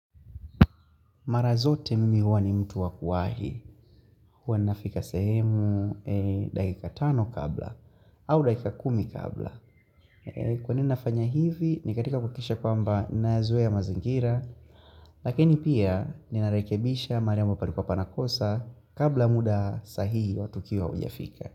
Mara zote mimi huwa ni mtu wa kuwahi, huwa nafika sehemu dakika tano kabla, au dakika kumi kabla. Kwa nini nafanya hivi, ni katika kuhakisha kwamba nayazoea mazingira, lakini pia ninarekebisha mahali ambapo pana kosa kabla muda sahihi au tukio haujafika.